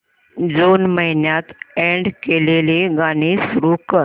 जून महिन्यात अॅड केलेली गाणी सुरू कर